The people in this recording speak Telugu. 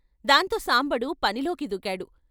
దాంతో సాంబడు పనిలోకి దూకాడు.